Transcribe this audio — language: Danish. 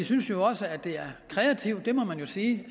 synes også at det er kreativt det må man jo sige